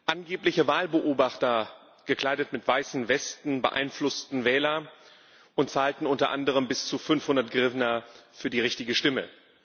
Angebliche Wahlbeobachter, gekleidet mit weißen Westen, beeinflussten Wähler und zahlten unter anderem bis zu 500 Hrywnja für die richtige Stimme.